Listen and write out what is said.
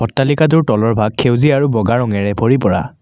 অট্টালিকাটোৰ তলৰ ভাগ সেউজীয়া আৰু বগা ৰঙৰে ভৰি পৰা।